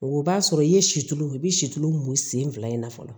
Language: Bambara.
O b'a sɔrɔ i ye situlu i bɛ situlu mun sen fila in na fɔlɔ